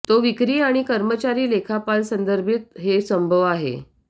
तो विक्री आणि कर्मचारी लेखापाल संदर्भित हे संभव आहे